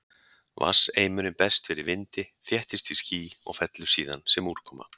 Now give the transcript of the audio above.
Vatnseimurinn berst fyrir vindi, þéttist í ský og fellur síðan sem úrkoma.